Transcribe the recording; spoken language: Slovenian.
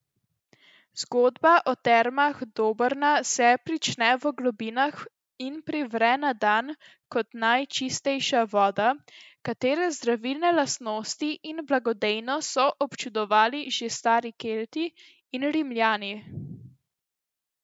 Zgodba o Termah Dobrna se prične v globinah in privre na dan kot najčistejša voda, katere zdravilne lastnosti in blagodejnost so občudovali že stari Kelti in Rimljani.